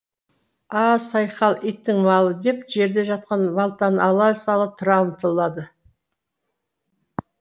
а сайқал иттің малы деп жерде жатқан балтаны ала сала тұра ұмтылады